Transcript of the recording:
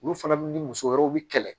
Olu fana ni muso wɛrɛw bi kɛlɛ